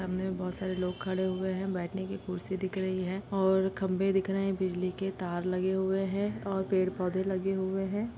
सामने बहुत सारे लोग खडे हुए है बैठने की कुर्सी दिख रही है और खम्बे दिख रहे हैं बिजली के तार लगे हुए हैं और पेड पौधे लगे हुए हैं।